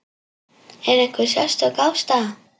Er einhver sérstök ástæða?